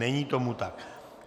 Není tomu tak.